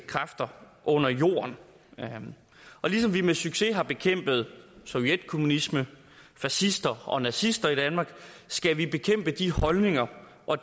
kræfter under jorden og ligesom vi med succes har bekæmpet sovjetkommunister fascister og nazister i danmark skal vi bekæmpe de holdninger og